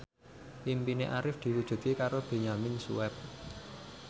impine Arif diwujudke karo Benyamin Sueb